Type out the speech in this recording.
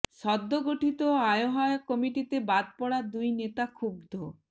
সদ্য গঠিত আহ্বায়ক কমিটিতে বাদ পড়া দুই নেতা ক্ষুব্ধ